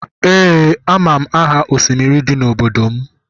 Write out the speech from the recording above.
Ee amam aha osimiri di n'obodo m